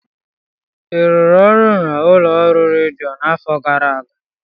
ị rụrụ ọrụ n'ụlọ ọrụ redio a n'afọ gara aga?